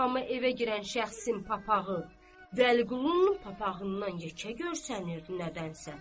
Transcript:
Amma evə girən şəxsin papağı Vəliqulunun papağından yekə görsənirdi nədənsə.